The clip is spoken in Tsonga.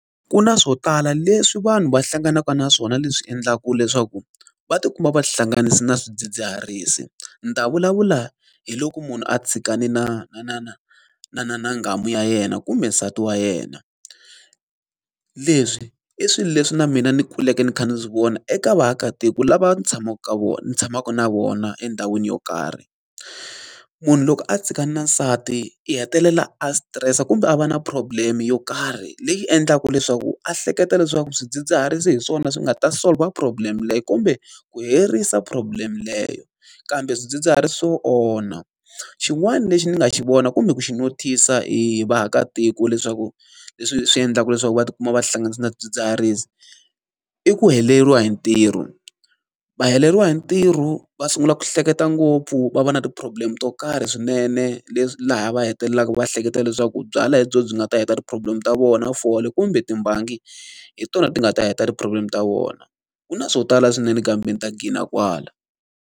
Ku na swo tala leswi vanhu va hlanganaka na swona leswi endlaka leswaku va ti kuma va ti hlanganise na swidzidziharisi. Ni ta vulavula hi loko munhu a tshikane na na na na na na na na nghamu ya yena kumbe nsati wa yena. Leswi i swilo leswi na mina ni kuleke ni kha ni swi vona eka vaakatiko lava ni tshamaka ka vona ni tshamaka na vona endhawini yo karhi. Munhu loko a tshikane na nsati i hetelela a stress-a kumbe a va na problem-e yo karhi leyi endlaka leswaku a hleketa leswaku swidzidziharisi hi swona swi nga ta solve-a problem-e leyi kumbe ku herisa problem leyo, Kambe swidzidziharisi swo onha. Xin'wana lexi ni nga xi vona kumbe ku xi notice-a hi vaakatiko leswaku leswi swi endlaka leswaku va ti kuma va ti hlanganisa na swidzidziharisi, i ku heleriwa hi ntirho. Va heleriwa hi ntirho, va sungula ku hleketa ngopfu, va va na ti-problem to karhi swinene laha va hetelelaka va hleketa leswaku byalwa byona byi nga ta heta ti-problem ta vona, fole, kumbe timbangi, hi tona ti nga ta heta ti-problem ta vona. Ku na swo tala swinene kambe ni ta ghina kwala.